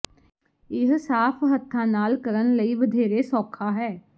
ਇਹ ਸਾਫ਼ ਹੱਥਾਂ ਨਾਲ ਕਰਨ ਲਈ ਵਧੇਰੇ ਸੌਖਾ ਹੈ